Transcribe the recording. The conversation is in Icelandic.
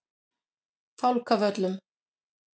Fálkavöllum